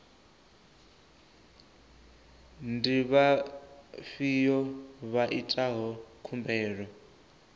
ndi vhafhiyo vha itaho khumbelo